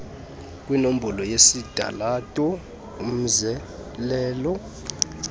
kwinombolo yesitalato umzelelo